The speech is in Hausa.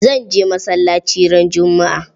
Zan je masallaci ran juma'a.